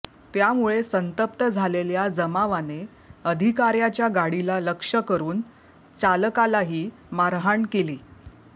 त्यामुळे संतप्त झालेल्या जमावाने अधिकाऱ्याच्या गाडीला लक्ष्य करून चालकालाही मारहाण केली